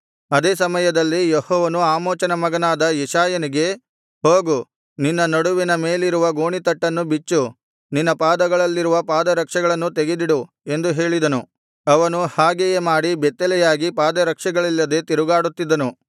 ಅದೇ ಸಮಯದಲ್ಲಿ ಯೆಹೋವನು ಆಮೋಚನ ಮಗನಾದ ಯೆಶಾಯನಿಗೆ ಹೋಗು ನಿನ್ನ ನಡುವಿನ ಮೇಲಿರುವ ಗೋಣಿತಟ್ಟನ್ನು ಬಿಚ್ಚು ನಿನ್ನ ಪಾದಗಳಲ್ಲಿರುವ ಪಾದರಕ್ಷೆಗಳನ್ನು ತೆಗೆದಿಡು ಎಂದು ಹೇಳಿದನು ಅವನು ಹಾಗೆಯೇ ಮಾಡಿ ಬೆತ್ತಲೆಯಾಗಿ ಪಾದರಕ್ಷೆಗಳಿಲ್ಲದೆ ತಿರುಗಾಡುತ್ತಿದ್ದನು